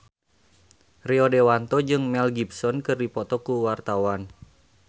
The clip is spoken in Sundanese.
Rio Dewanto jeung Mel Gibson keur dipoto ku wartawan